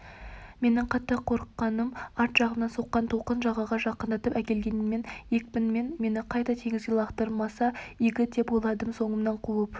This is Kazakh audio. менің қатты қорыққаным арт жағымнан соққан толқын жағаға жақындатып әкелгенімен екпінімен мені қайта теңізге лақтырмаса игі деп ойладым соңымнан қуып